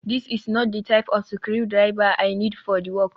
this is not the type of screwdriver I need for the work